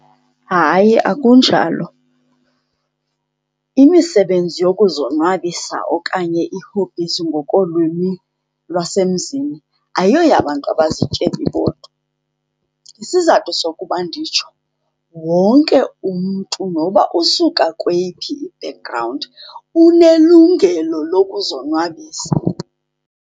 Hayi akunjalo, imisebenzi yokuzonwabisa okanye ii-hobbies ngokolwimi lwasemzini ayoyabantu abazityebi bodwa. Isizathu sokuba nditsho wonke umntu noba usuka kweyiphi i-background unelungelo lokuzonwabisa.